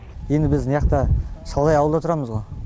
енді біз мыняқта шалғай ауылда тұрамыз ғо